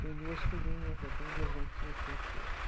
Tem duas filhinhas, eu tenho duas netinhas francesas.